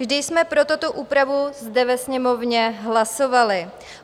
Vždy jsme pro tuto úpravu zde ve Sněmovně hlasovali.